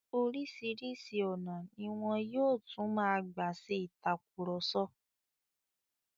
Oríṣìíríṣìí ọ̀nà ni wọn yóò tún máa gbà ṣe ìtàkurọ̀sọ.